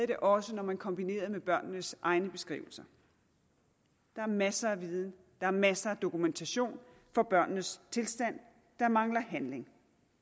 det også når man kombinerede det med børnenes egne beskrivelser der er masser af viden der er masser af dokumentation for børnenes tilstand der mangler handling